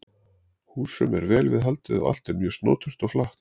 Húsum er vel við haldið og allt er mjög snoturt og flatt.